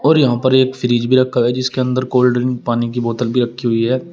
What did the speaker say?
और यहां पर एक फ्रिज भी रखा है जिसके अंदर कोल्ड ड्रिंक पानी की बोतल भी रखी हुई है।